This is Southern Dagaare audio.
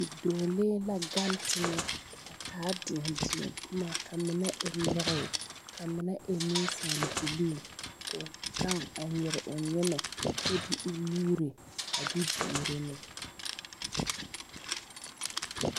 Bidͻͻlee la gaŋe teŋԑ a taa deԑdeԑboma, a mine e lͻre ka a mine e nensaalebilii koo gaŋe kyԑ nyere o nyemԑ kyԑ de o nuuri a de duoro ne.